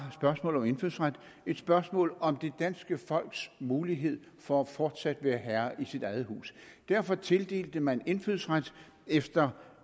spørgsmålet om indfødsret et spørgsmål om det danske folks mulighed for fortsat at være herre i sit eget hus derfor tildelte man indfødsret efter